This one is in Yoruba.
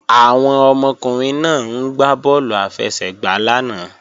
Àwọn ọmọkùnrin náà ń gbá bọ́ọ̀lù àfẹsẹ̀gbá lánàá